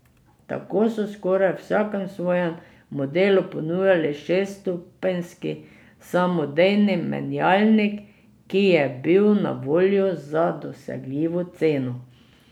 Tako so v skoraj vsakem svojem modelu ponujali šeststopenjski samodejni menjalnik, ki je bil na voljo za dosegljivo ceno.